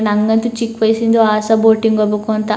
ನನಗಂತೂ ಚಿಕ್ ವಯಸ್ಸಿನಿಂದ ಅಸೆ ಬೋಟಿಂಗ್ ಹೋಗ್ಬೇಕು ಅಂತ.